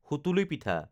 সুতুলি পিঠা